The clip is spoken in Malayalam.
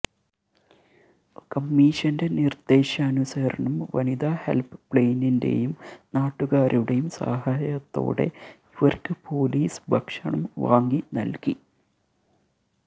കമ്മീഷന്റെ നിര്ദ്ദേശാനുസരണം വനിതാ ഹെല്പ്പ്ലൈനിന്റെയും നാട്ടുകാരുടെയും സഹായത്തോടെ ഇവര്ക്ക് പോലീസ് ഭക്ഷണം വാങ്ങി നല്കി